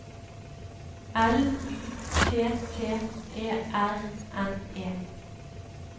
L Y T T E R N E